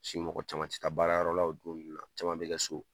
Paseke mɔgɔ caman tɛ taa baarayɔrɔ la , o don ninnu la caman bɛ kɛ so.